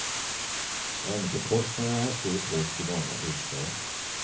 Räntekostnader är en stor post i många hushåll.